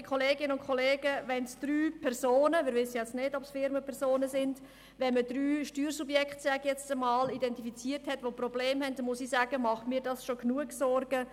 Ja, liebe Kolleginnen und Kollegen, wenn man drei Personen – wir wissen ja nicht, ob es Firmen oder Personen sind –, also sage ich jetzt mal drei Steuersubjekte mit Problemen identifiziert hat, bereitet mir das schon Sorgen genug.